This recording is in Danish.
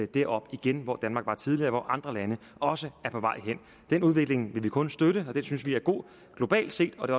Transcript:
derop igen hvor danmark var tidligere og hvor andre lande også er på vej hen den udvikling vil vi kun støtte den synes vi er god globalt set og det